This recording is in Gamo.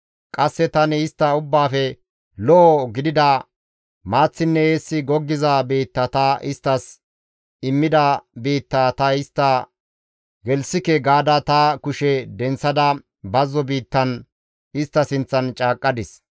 Qasse tani istta ubbaafe lo7o gidida maaththinne eessi goggiza biitta ta isttas immida biittaa ta istta gelththike gaada ta kushe denththada bazzo biittan istta sinththan caaqqadis.